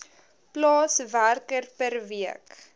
plaaswerker per week